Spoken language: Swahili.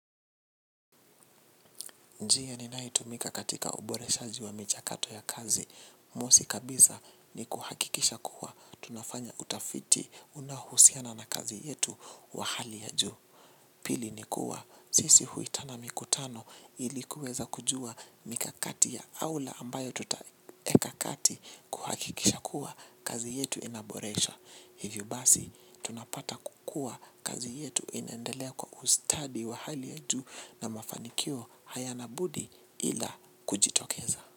Njia ninayoitumia katika uboreshaji wa michakato ya kazi. Mosi kabisa ni kuhakikisha kuwa tunafanya utafiti unaohusiana na kazi yetu wa hali ya juu. Pili ni kuwa, sisi huitana mikutano ili kuweza kujua mikakati ya aula ambayo tutaweka kati kuhakikisha kuwa kazi yetu inaboresha. Hivyo basi tunapata kukua kazi yetu inendelea kwa ustadi wa hali ya juu na mafanikio hayana budi ila kujitokeza.